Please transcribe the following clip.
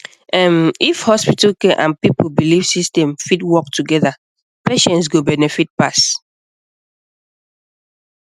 ehn if hospital care and people belief system fit work together patients go benefit pass